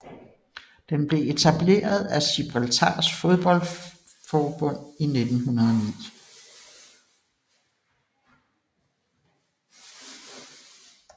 Den blev etableret af Gibraltars fodboldforbund i 1909